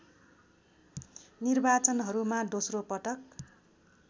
निर्वाचनहरूमा दोस्रो पटक